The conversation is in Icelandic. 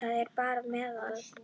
Það er bara meðal.